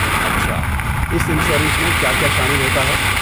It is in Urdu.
اچھا، اس انشورنس میں کیا کیا شامل ہوتا ہے؟